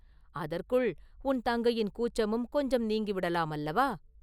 அதற்குள் உன் தங்கையின் கூச்சமும் கொஞ்சம் நீங்கிவிடலாம் அல்லவா?